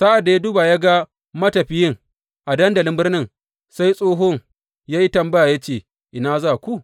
Sa’ad da ya duba ya ga matafiyin a dandalin birnin, sai tsohon ya yi tambaya ya ce, Ina za ku?